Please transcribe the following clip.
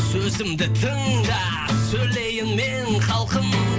сөзімді тыңда сөйлейін мен халқым